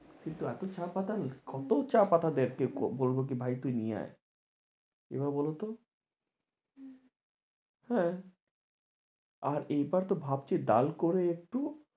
কিন্তু এতো চা পাতা কত চা পাতা বলবো কি ভাই তুই নিয়ে আয় এবার বলতো হ্যাঁ আর এইবারতো ভাবছি করে একটু